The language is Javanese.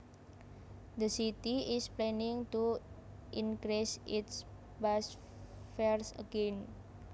The city is planning to increase its bus fares again